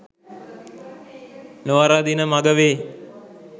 නොවරදින මග වේ